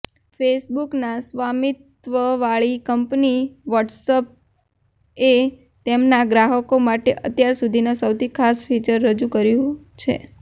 ફેસબુકના સ્વામિત્વવાળી કંપની વ્હાટસએપએ તેમના ગ્રાહકો માટે અત્યાર સુધીના સૌથી ખાસ ફીચર રજુ કર્યું છે